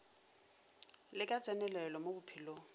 le ka tsenelelo mo bophelong